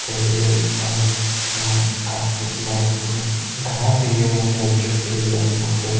ठेवलेल्या दिसताएत समोर अशे काच देखील लावलेले पूर्ण असे घरात हे जे अशे अॅडजस्ट केलेले आपण बघतोय.